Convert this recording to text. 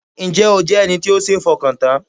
Ǹ jẹ́ o jẹ́ ẹni tó sé fọkàn tán?